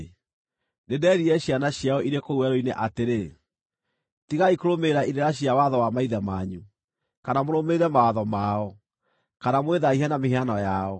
Nĩnderire ciana ciao irĩ kũu werũ-inĩ atĩrĩ, “Tigai kũrũmĩrĩra irĩra cia watho wa maithe manyu, kana mũrũmĩrĩre mawatho mao, kana mwĩthaahie na mĩhianano yao.